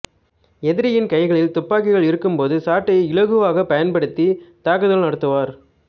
எதிரியின் கைகளில் துப்பாக்கிகள் இருக்கும் போது சாட்டையை இலகுவாகப் பயன்படுத்தித் தாக்குதல் நடத்துவார்